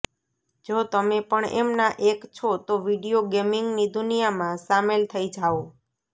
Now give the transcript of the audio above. જો તમે પણ એમના એક છો તો વિડીયો ગેમિંગની દુનિયામાં સામેલ થઇ જાઓ